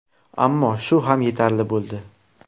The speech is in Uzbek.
Ammo shu ham yetarli bo‘ldi.